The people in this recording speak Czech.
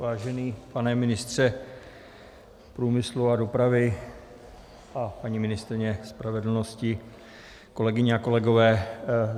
Vážený pane ministře průmyslu a dopravy a paní ministryně spravedlnosti, kolegyně a kolegové.